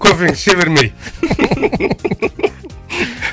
кофеңді іше бермей